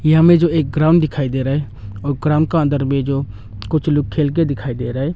यह हमें जो एक ग्राउंड दिखाई दे रहा है और ग्राउंड का अंदर में जो कुछ लोग खेलके दिखाई दे रहा है।